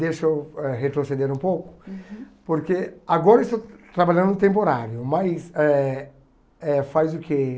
Deixa eu eh retroceder um pouco, porque agora eu estou trabalhando no temporário, mas eh eh faz o quê?